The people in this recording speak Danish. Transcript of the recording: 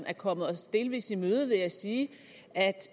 er kommet os delvis i møde ved at sige at